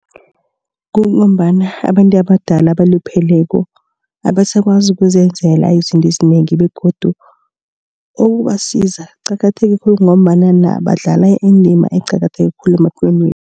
Kungombana abantu abadala abalupheleko abasakwazi ukuzenzela izinto ezinengi begodu ukubasiza kuqakatheke khulu ngombana badlala indima eqakatheke khulu emaphilweni.